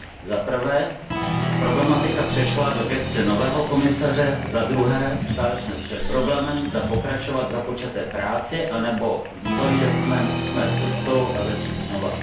Zaprvé, problematika přešla do gesce nového komisaře, zadruhé, stáli jsme před problémem, zda pokračovat v započaté práci anebo bývalý dokument smést ze stolu a začít znova.